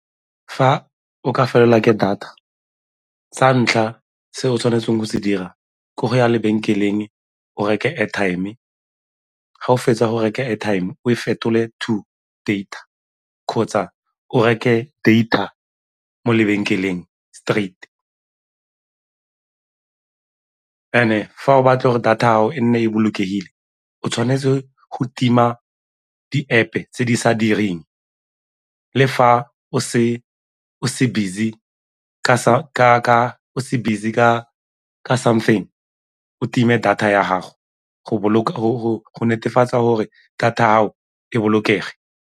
Fa o ka felelwa ke data, sa ntlha se o tshwanetseng go se dira ke go ya lebenkeleng o reke airtime, ga o fetsa go reka airtime o e fetole to data kgotsa o reke data mo lebenkeleng straight. And-e fa o batla gore data ya gago e nne e bolokegile o tshwanetse go tima di-App-e tse di sa direng le fa o se o se busy ka something o time data ya gago go netefatsa gore data ya gago e bolokege.